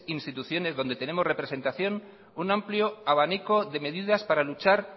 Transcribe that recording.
instituciones donde tenemos representación un amplio abanico de medidas para luchar